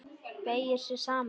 Beygir sig saman.